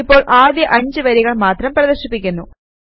ഇപ്പോൾ ആദ്യ 5 വരികൾ മാത്രം പ്രദർശിപ്പിക്കുന്നു